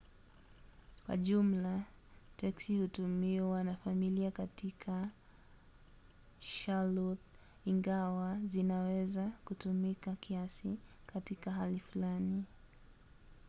kwa jumla teksi hutumiwa na familia katika charlotte ingawa zinaweza kutumika kiasi katika hali fulani